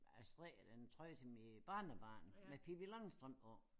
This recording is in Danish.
Jeg strikkede en trøje til mit barnebarn med Pippi Langstrømpe på